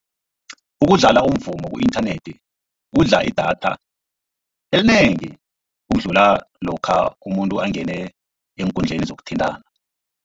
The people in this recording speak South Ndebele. Ukudlala umvumo ku-inthanethi kudla idatha elinengi, ukudlula lokha umuntu angene eenkundleni zokuthintana.